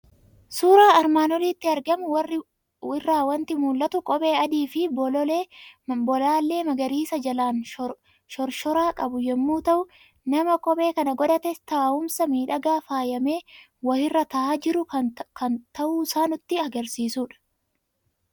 Suuraa armaan olitti argamu irraa waanti mul'atu; kophee adiifi bolaalee magariisa jalaan shorshoraa qabu yommuu ta'u, nama kophee sana godhatee taa'umsa miidhagaa faayame wahirra taa'a jiru kan ta'uusaa nutti agarsiisudha.